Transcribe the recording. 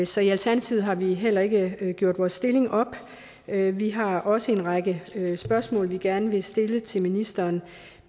så i alternativet har vi heller ikke gjort vores stillingtagen er vi har også en række spørgsmål vi gerne vil stille til ministeren